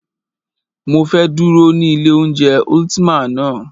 Mọ fẹ́ dúró ní ilé oúnjẹ Ultima ná.